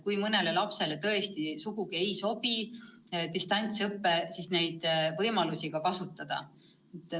Kui mõnele lapsele tõesti sugugi ei sobi distantsõpe, siis saab paindlikult muid võimalusi kasutada.